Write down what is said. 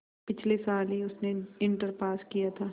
पिछले साल ही उसने इंटर पास किया था